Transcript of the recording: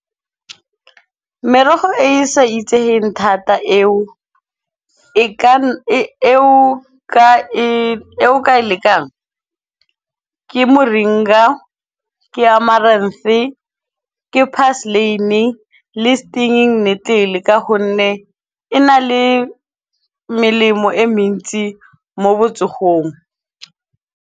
Merogo e e sa itseheng thata e o ka e lekang ke moringa, ke , ke parsleyne, le stinging needle ka honne e na le melemo e mentsi mo botsogong.